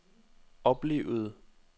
oplevede